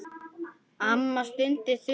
Amma stundi þungan.